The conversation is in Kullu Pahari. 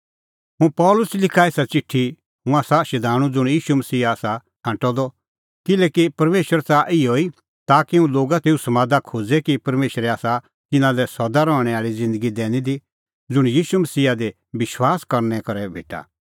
हुंह पल़सी लिखा एसा च़िठी हुंह आसा शधाणूं ज़ुंण मसीहा ईशू आसा छ़ांटअ द किल्हैकि परमेशर च़ाहा त इहअ ई ताकि हुंह लोगा का तेऊ समादा खोज़े कि परमेशरै आसा तिन्नां लै सदा रहणैं आल़ी ज़िन्दगी दैणीं की दी ज़ुंण मसीहा ईशू दी विश्वास करनै करै भेटा